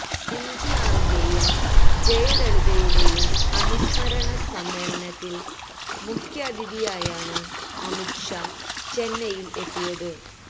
M ജിആറിന്റെയും ജയലളിതയുടെയും അനുസ്മരണ സമ്മേളനത്തില് മുഖ്യാതിഥിയായാണ് അമിത് ഷാ ചെന്നൈയില് എത്തിയത്